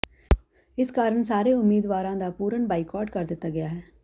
ਇਸ ਕਾਰਨ ਸਾਰੇ ਉਮੀਦਵਾਰਾਂ ਦਾ ਪੂਰਨ ਬਾਈਕਾਟ ਕਰ ਦਿੱਤਾ ਗਿਆ ਹੈ